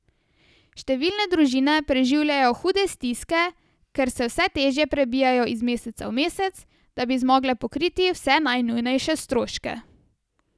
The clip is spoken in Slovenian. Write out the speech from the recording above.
Številne družine preživljajo hude stiske, ker se vse težje prebijajo iz meseca v mesec, da bi zmogle pokriti vse najnujnejše stroške.